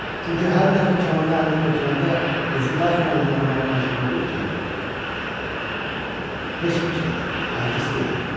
Çünki hər dəfə kamanı əlinə götürəndə özü daxilən inanmağa məcbur olur ki, heç bir şeydir, artist deyil.